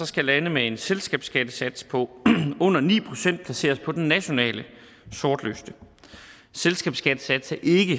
skal lande med en selskabsskattesats på under ni procent placeres på den nationale sortliste selskabsskattesats er ikke